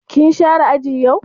Kin share aji yau?